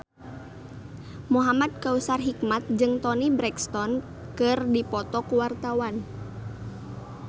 Muhamad Kautsar Hikmat jeung Toni Brexton keur dipoto ku wartawan